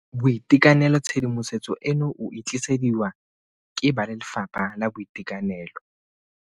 BOITEKANELO Tshedimosetso eno o e tlisediwa ke ba Lefapha la Boitekanelo.